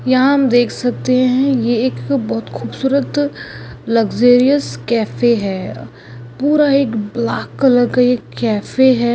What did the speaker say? यहा हम देख सकते है यह एक बहुत खूबसूरत लग्जरीयस कैफे है पूरा यह ब्लॅक कलर का कैफे है।